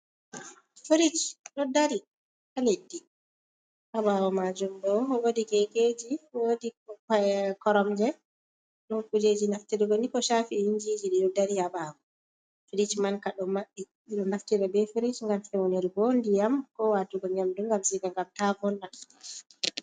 Frich ɗo dari haa leddi haa ɓaawo maajum bo woodi keekeeji, woodi koromje ɗo kuujeji naftirgo ni ko shafi yinjiji ɗo dari ha ɓaawo. firich man ka bo maɓɓi ɓe ɗo naftira bee frich gam fewnir go ndiyam ko waatugo nyamdu ji ngam ta wonna.